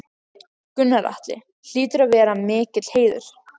Gunnar Atli: Hlýtur að vera mikill heiður?